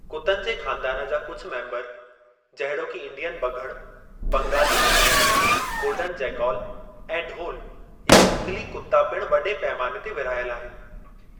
कुतन जे ख़ानदानु जा कुझ मेम्बर जहिड़ोकि इंडियन बघड़ु, बंगाली लूमड़ु, गोल्डन जेकॉल ऐं ढोलु या झंगली कुत्ता पिणु वॾे पैमाने ते विरहायल आहिनि।